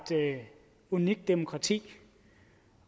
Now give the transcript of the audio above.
unikt demokrati